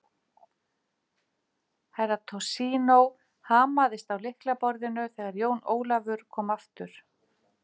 Herra Toshizo hamaðist á lyklaborðinu þegar Jón Ólafur kom aftur.